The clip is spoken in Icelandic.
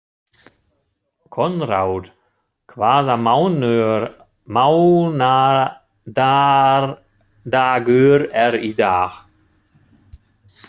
Konráð, hvaða mánaðardagur er í dag?